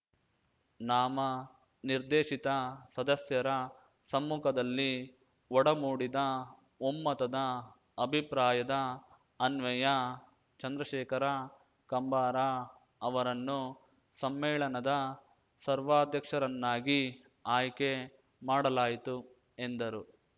ನಾಮ ನಿರ್ದೇಶಿತ ಸದಸ್ಯರ ಸಮ್ಮುಖದಲ್ಲಿ ಒಡಮೂಡಿದ ಒಮ್ಮತದ ಅಭಿಪ್ರಾಯದ ಅನ್ವಯ ಚಂದ್ರಶೇಖರ ಕಂಬಾರ ಅವರನ್ನು ಸಮ್ಮೇಳನದ ಸರ್ವಾಧ್ಯಕ್ಷರನ್ನಾಗಿ ಆಯ್ಕೆ ಮಾಡಲಾಯಿತು ಎಂದರು